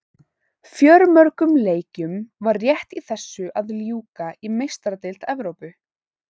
Fjölmörgum leikjum var rétt í þessu að ljúka í Meistaradeild Evrópu.